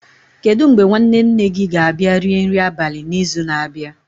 Kedu mgbe nwanne nne gị ga-abịa rie nri abalị n'izu na-abịa?